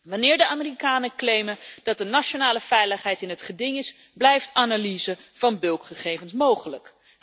Wanneer de Amerikanen claimen dat de nationale veiligheid in het geding is, blijft analyse van bulkgegevens mogelijk.